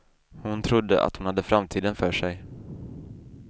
Hon trodde att hon hade framtiden för sig.